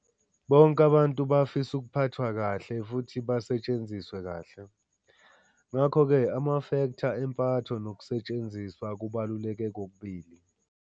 Bonke abantu bafisa ukuphathwa kahle futhi basetshenziswe kahle. Ngakho ke amafektha empatho nokusetshenziswa kubaluleke kokubili.